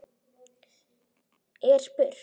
er spurt.